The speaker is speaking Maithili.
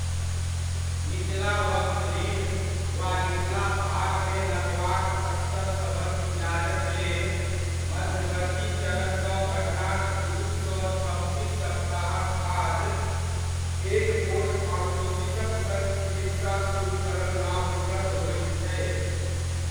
निचला वक्ष रीढ़ वा निचला भागमे लकवाक स्तर सभक इलाजक लेल मध्यवर्ती चरणसँ घटनाक दू सँ छब्बीस सप्ताहक बाद एक गोट ऑर्थोसिसक सङ्ग चिकित्सा सुरुह करब लाभप्रद होइत छै।